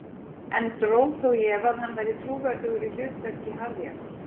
En dró þó í efa að hann væri trúverðugur í hlutverki harðjaxls.